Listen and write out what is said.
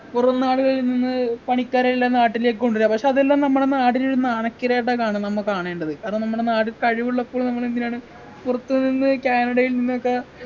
പുറം നാടുകളിൽ നിന്ന് പണിക്കരെയെല്ലാം നാട്ടിലേക്ക് കൊണ്ട് വര പക്ഷെ അതെല്ലാം നമ്മളെ നാടിനു ഒരു മാനക്കേടായിട്ടാ കാണുന്ന് നമ്മ കാണേണ്ടത് കാരണം നമ്മടെ നാട് കഴിവുള്ളപ്പോൾ നമ്മളെന്തിനാണ് പുറത്തു നിന്ന് കാനഡയിൽ നിന്നൊക്കെ